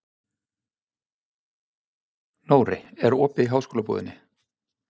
Nóri, er opið í Háskólabúðinni?